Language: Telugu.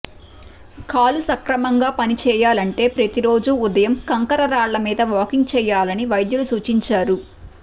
కాలు సక్రమంగా పని చెయ్యాలంటే ప్రతిరోజూ ఉదయం కంకర రాళ్ల మీద వాకింగ్ చెయ్యాలని వైద్యులు సూచించారు